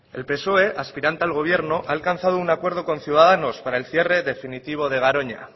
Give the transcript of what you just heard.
el psoe aspirante al gobierno ha alcanzado un acuerdo con ciudadanos para el cierre definitivo de garoña